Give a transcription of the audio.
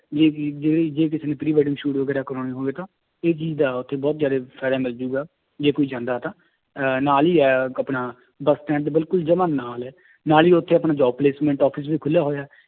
ਜਿਹੜੇ ਜੇ ਕਿਸੇ ਨੇ pre wedding shoot ਵਗ਼ੈਰਾ ਕਰਵਾਉਣੇ ਹੋਣਗੇ ਤਾਂ ਇਹ ਚੀਜ਼ ਦਾ ਉੱਥੇ ਬਹੁਤ ਜ਼ਿਆਦੇ ਫ਼ਾਇਦਾ ਮਿਲ ਜਾਏਗਾ ਜੇ ਕੋਈ ਜਾਂਦਾ ਤਾਂ ਅਹ ਨਾਲ ਹੀ ਹੈ ਆਪਣਾ ਬਸ stand ਦੇ ਬਿਲਕੁਲ ਜਮਾ ਨਾਲ ਹੈ ਨਾਲ ਹੀ ਉੱਥੇ ਆਪਣੇ job placement office ਵੀ ਖੁੱਲਿਆ ਹੋਇਆ